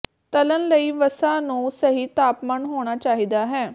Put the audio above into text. ਤਲ਼ਣ ਲਈ ਵਸਾ ਨੂੰ ਸਹੀ ਤਾਪਮਾਨ ਹੋਣਾ ਚਾਹੀਦਾ ਹੈ